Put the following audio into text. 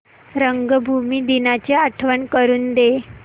रंगभूमी दिनाची आठवण करून दे